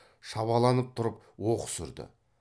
шабаланып тұрып оқыс үрді